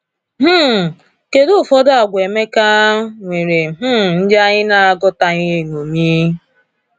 um Kedu ụfọdụ àgwà Emeka nwere um ndị anyị na - agatụghị eṅomi?